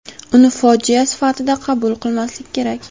Uni fojia sifatida qabul qilmaslik kerak.